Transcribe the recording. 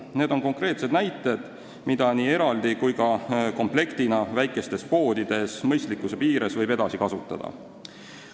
Need on konkreetsed näited selle kohta, mis võimalusi nii eraldi kui ka komplektina väikestes poodides mõistlikkuse piires võib edasi kasutada.